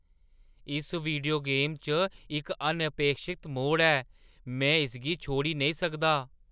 इस video game च इक अनअपेक्षत मोड़ ऐ। में इसगी छोड़ी नेईं सकदा!